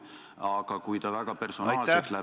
Aga kui ta valetamisel väga personaalseks läheb ...